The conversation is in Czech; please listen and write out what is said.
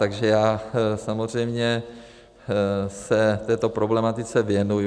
Takže já samozřejmě se této problematice věnuji.